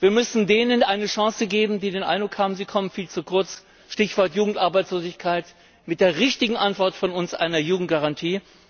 Wir müssen denen eine Chance geben, die den Eindruck haben, sie kommen viel zu kurz Stichwort Jugendarbeitslosigkeit mit der richtigen Antwort von uns einer Jugendgarantie.